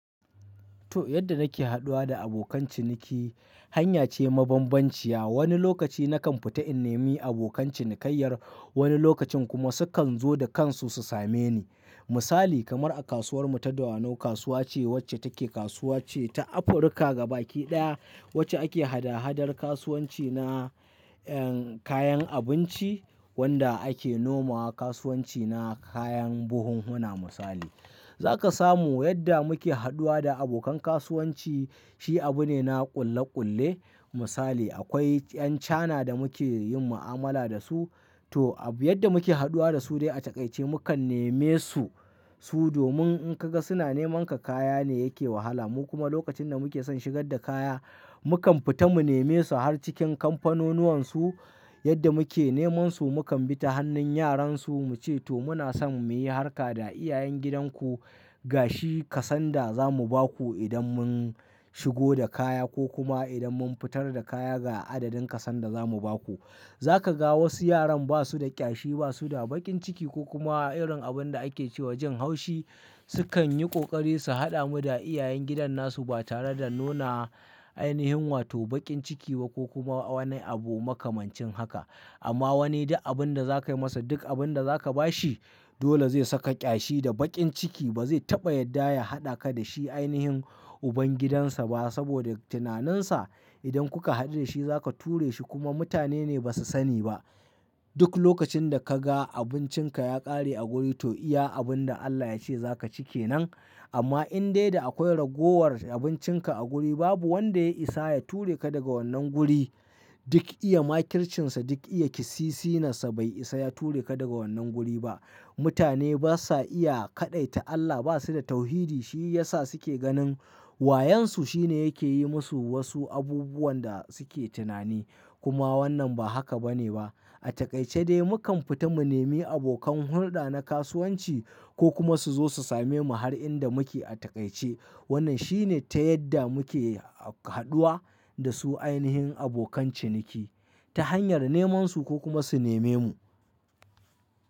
To yadda nake haɗuwa da abokan ciniki, hanya ce mabambanciya. Wani lokaci na kan fita in nemi abokan cinikayyar, wani lokacin kuma su kan zo da kansu su same ni. Misali kamar a kasuwar mu ta Dawanau, kasuwa ce wacce take kasuwa ce ta Afirka gaba ɗaya, wacce ake hada-hadar kasuwanci na, eh, kayan abinci wanda ake noma wa kasuwanci na kayan buhunhuna misali. Za ka samu yadda muke haɗuwa da abokan kasuwanci shi abu ne na ƙulle-ƙulle. Misali akwai 'yan China da muke yin ma'amala da su, to abu yadda muke haɗuwa da su dai a taƙaice mukan neme su, su domin in ka ga suna neman ka kaya ne yake wahala. Mu kuma lokacin da muke son shigar da kaya, mu kan fita mu neme su har cikin kamfanonuwan su. Yadda muke neman su mu kan bi ta hannun yaran su muce to muna son mu yi harka da iyayen gidan ku, ga shi kasan da za mu ba ku idan mun shigo da kaya ko kuma idan mun fitar da kaya ga adadin kasan da za mu ba ku. Za ka ga wasu yaran ba su da ƙyashi, ba su da baƙin ciki ko kuma irin abun da ake ce wa jin haushi, su kan yi ƙoƙari su haɗa mu da iyayen gidan na su ba tare da nuna ainihin wato baƙin ciki ba ko kuma wani abu makamancin haka. Amma wani duk abun da za ka yi masa duk abun da za ka ba shi, dole zai saka ƙyashi da baƙin ciki ba zai taɓa yadda ya haɗa ka da shi ainihin ubangidansa ba saboda tunaninsa idan kuka haɗu da shi za ka ture shi kuma mutane ne ba su sani ba. Duk lokacin da ka ga abincin ka ya ƙare a guri to iya abun da Allah ya ce za ka ci ke nan. Amma in dai da akwai ragowar abincin ka a guri babu wanda ya isa ya ture ka daga wannan guri. Duk iya ma kirshinsa, duk iya kisisi nasa bai isa ya ture ka daga wannan guri ba. Mutane ba sa iya kaɗaita Allah, ba su da tauhidi. Shi ya sa su ke ganin wayansu shine yake yi musu wasu abubuwan da su ke tunani. Kuma wannan ba haka ba ne ba. A taƙaice dai mu kan fita mu nemi abokan hulɗa na kasuwanci ko kuma su zo su same mu har inda muke a taƙaice. Wannan shi ne ta yadda muke haɗuwa da su ainihin abokan ciniki ta hanyar neman su ko kuma su neme mu.